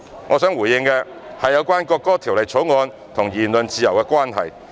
我想回應的最後一點，是有關《條例草案》與言論自由的關係。